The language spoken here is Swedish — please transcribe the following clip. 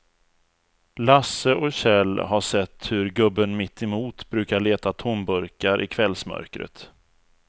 Lasse och Kjell har sett hur gubben mittemot brukar leta tomburkar i kvällsmörkret.